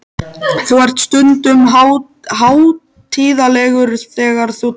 Þú ert stundum hátíðlegur þegar þú talar.